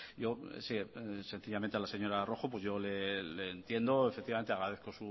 yo sencillamente a la señora rojo le entiendo efectivamente agradezco